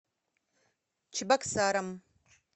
чебоксарам